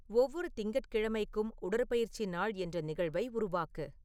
ஒவ்வொரு திங்கட்கிழமைக்கும் உடற்பயிற்சி நாள் என்ற நிகழ்வை உருவாக்கு